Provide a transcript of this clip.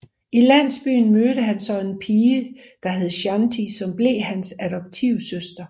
I landsbyen mødte han så en pige der hed Shanti som blev hans adoptivsøster